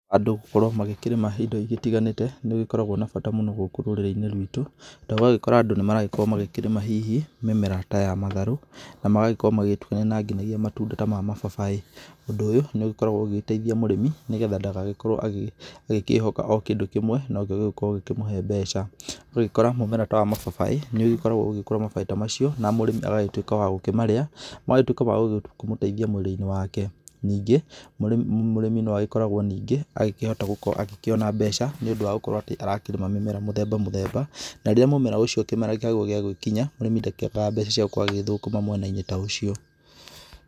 Andũ gũkorwo magĩkĩrĩma indo igĩtiganĩte nĩ gũgĩkoragwo na bata mũno gũkũ rũrĩrĩ-inĩ rwitũ. Tondũ ũragĩkora andũ nĩmarakorwo magĩkĩrima hihi mĩmera ta ya matharũ, na magagĩkorwo magĩgĩtukania na ngina na matunda ta ma mababaĩ. Ũndũ ũyũ nĩ ũgĩkoragwo ũgĩgĩteitha mũrĩmi nĩgetha ndagagĩkorwo agi agĩkĩhoka kĩndũ kĩmwe nĩkĩo gĩgũkorwo gĩkĩmũhe mbeca. Ũgagĩkora mũmera ta wa mababaĩ nĩũgĩgĩkoragwo ugĩgĩkũra mababaĩ ta macio na mũrĩmi agagĩtuĩka wa gũkĩmarĩa, magagĩtuĩka ma gũkĩmũteithia mwĩrĩ-inĩ wake. Ningĩ, mũrĩmi noagĩkoragwo ningĩ agĩkĩhota gũkorwo agĩkĩona mbeca nĩ ũndũ wa gũkorwo atĩ arakĩrĩma mĩmera mũthemba mũthemba. Na rĩrĩa mumera ũcio kĩmera kĩaguo gĩagĩkinya mũrĩmi ndakiagaga mbeca ciagũkorwo agĩgĩthũkũma mwena-inĩ ta ũcio.